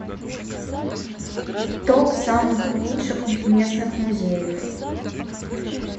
топ самых лучших местных музеев